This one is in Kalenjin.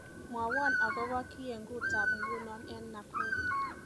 Mwowo akobo kiyengutab nguno eng Nakuru